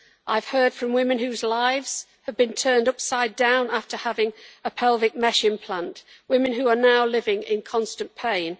I have heard from women whose lives have been turned upside down after having a pelvic mesh implant, women who are now living in constant pain.